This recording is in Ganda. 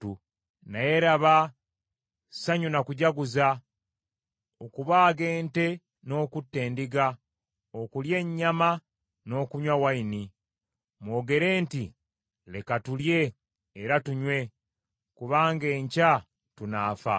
Naye laba, ssanyu na kujaguza, okubaaga ente n’okutta endiga, okulya ennyama n’okunywa envinnyo. Mwogere nti, “Leka tulye, era tunywe kubanga enkya tunaafa.”